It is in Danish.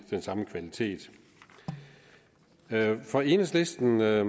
den samme kvalitet for enhedslisten er